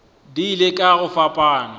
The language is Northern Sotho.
di ile ka go fapana